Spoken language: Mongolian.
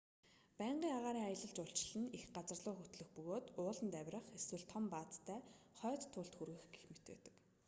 байнгын агаарын аялал жуулчлал нь их газарлуу хөтлөх бөгөөд ууланд авирах эсвэл том баазтай хойд туйлд хүрэх гэх мэт байдаг